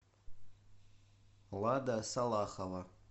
лада салахова